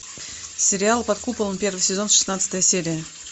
сериал под куполом первый сезон шестнадцатая серия